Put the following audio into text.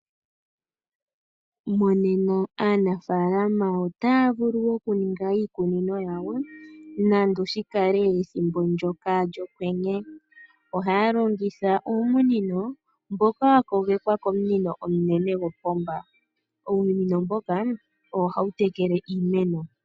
Monena aanafaalama otaya vulu okuninga iikunino yawo nando oshikale ethimbo ndyoka lyOkwenye. Ohaya longitha uumunino mboka wa kogekwa komunino omunene gopomba. Uumunino mboka owo hawu tekele iimeno.